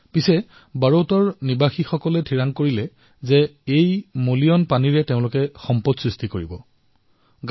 কিন্তু বড়ৌতৰ জনসাধাৰণে এই দুষিত পানীৰ পৰাও সম্পদ সৃষ্টি কৰাৰ সিদ্ধান্ত গ্ৰহণ কৰিলে